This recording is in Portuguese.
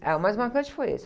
Ah, o mais marcante foi esse.